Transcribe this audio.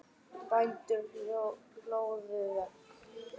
Bændur hlóðu vegg.